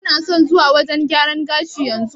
Kana son zuwa wajen gyaran gashi yanzu?